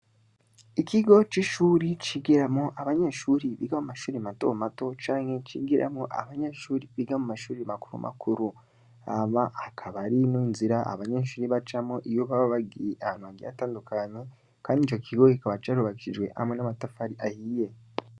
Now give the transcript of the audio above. Ikigo c'ishure cigiramwo abanyeshure biga mumashure matomato, canke cigiramwo abanyeshure biga mumashure, makuru hamaa hakaba harimwo inzira abanyeshure bacamwo iyo babagiye ahantu hatandukanye kandi icokigo kikaba carubakishijwe hamwe a namatafari ahiye.